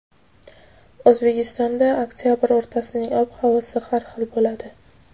O‘zbekistonda oktyabr o‘rtasining ob-havosi har xil bo‘ladi.